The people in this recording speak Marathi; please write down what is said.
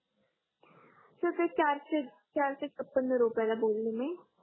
सर ते चारसे चारसे पंधरा रुपयाला दोन इमी आहे